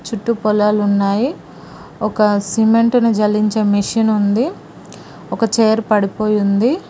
చుట్టూ పొలాలు ఉన్నాయి ఒక సిమెంట్ని జల్లించే మెషిన్ ఉంది ఒక చైర్ పడిపోయి ఉంది.